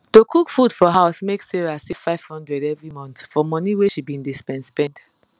to cook food for house make sarah save 500 every month for money wey she be dey spend spend